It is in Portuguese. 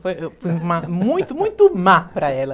Foi eu fui má muito, muito má para ela.